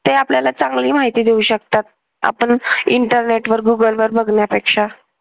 ते आपल्याला चांगली माहिती देऊ शकतात. आपण internet वर google वर बघण्यापेक्षा